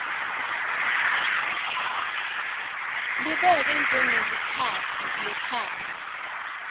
libeke njengelikhasi lekhaya